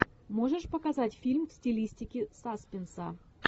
можешь показать фильм в стилистике саспенса